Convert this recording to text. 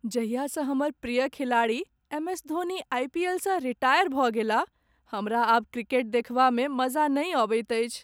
जहियासँ हमर प्रिय खिलाड़ी एम.एस.धोनी आइपीएलसँ रिटायर भऽ गेलाह, हमरा आब क्रिकेट देखबामे मजा नहि अबैत अछि।